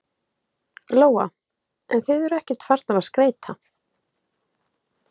Lóa: En þið eruð ekkert farnar að skreyta?